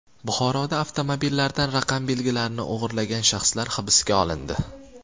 Buxoroda avtomobillardan raqam belgilarini o‘g‘irlagan shaxslar hibsga olindi.